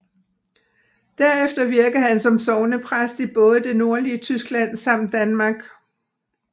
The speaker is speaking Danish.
Derefter virkede han som sognepræst i både det nordlige Tyskland samt Danmark